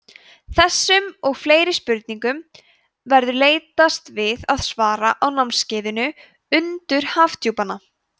þessum og fleiri spurningum verður leitast við að svara á námskeiðinu undur hafdjúpanna